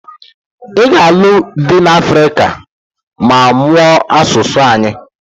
Ị ga alụ dị n'Africa ma mụọ asụsụ anyị